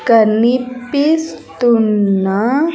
కనిపిస్తున్న.